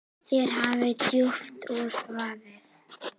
Þér hafi djúpt út vaðið.